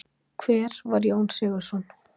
Hver var Jón Sigurðsson?